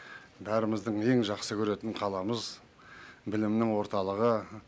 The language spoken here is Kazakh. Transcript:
бәріміздің ең жақсы көретін қаламыз білімнің орталығы